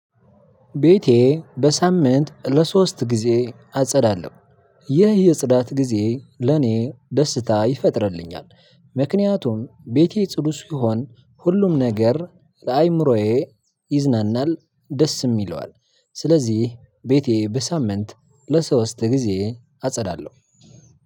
ቤቴ በሳምንት ለሶስት ጊዜ አጸዳለሁ ይህ የጽዳት ጊዜ ለኔ ደስታ ይፈጥርልኛል። ምክንያቱም ቤቴ ጽዱ ሲሆን ሁሉም ነገር ለአእምሮዬ ይዝናናል ደስም ይለዋል። ስለዚህ ቤቴ በሳምንት ለሶስት ጊዜ አጸዳለሁ።